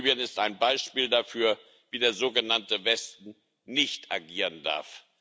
Libyen ist ein Beispiel dafür, wie der sogenannte Westen nicht agieren darf.